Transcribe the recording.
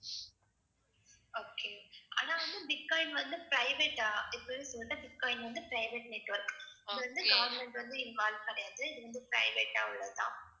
okay ஆனா வந்து bitcoin வந்து private ஆ இப்பவே சொல்லிட்டேன் பிட்காயின் வந்து private network. இது வந்து government வந்து involve கிடையாது இது வந்து private ஆ உள்ளது தான்